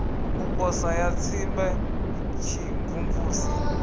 u posa ya tsimbe tshimvumvusi